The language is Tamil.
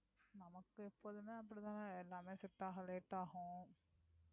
நமக்கு எப்போதுமே அப்படித்தான எல்லாமே set ஆக late ஆகும்